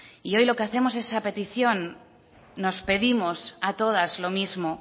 y hoy lo que hacemos es esa petición nos pedimos a todas lo mismo